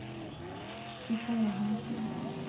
Susanne Hanssen